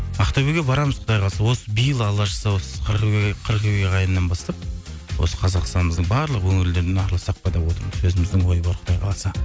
ақтөбеге барамыз құдай қаласа осы биыл алла жазса осы қыркүйек айынан бастап осы қазақстанымыздың барлық өңірлерін араласақ па деп отырмыз өзімізде ой бар құдай қаласа